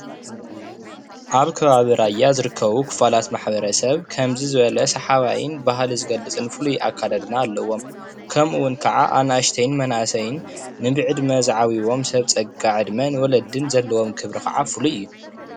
ኣብ ከባቢ ራያ ዝርከቡ ክፋላት ማሕበረሰብ ከምዚ ዝበለ ሰሓባይን ባህሊ ዝገልፅን ፍሉይ ኣከዳድና ኣለዎም:: ከምኡውን ክዓ ኣናእሽተይ መናእሰይን ንብዕድመ ዝዓብይዎም ሰብ ፀጋ ዕድመን ንወለድን ዘለዎም ክብሪ ክዓ ፍሉይ እዩ፡፡